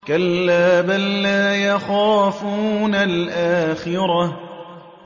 كَلَّا ۖ بَل لَّا يَخَافُونَ الْآخِرَةَ